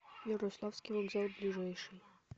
ярославский вокзал ближайший